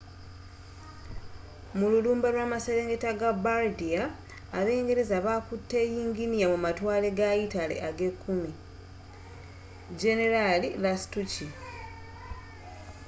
mululumba lwamaserengeta ga bardia abangereza bakutte yinginiya mumatwale ga yitale agekkumi generaali lastucci